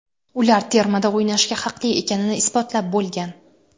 Ular termada o‘ynashga haqli ekanini isbotlab bo‘lgan.